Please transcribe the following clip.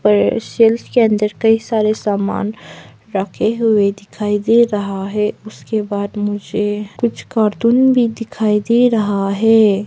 Self के अंदर कई सारे सामान रखे हुए दिखाई दे रहा है उसके बाद मुझे कुछ कार्टून भी दिखाई दे रहा है।